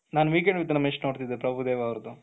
ನಾನು weekend with Ramesh ನೋಡ್ತಾ ಇದ್ದೆ ಪ್ರಭುದೇವಾ ಅವರದು,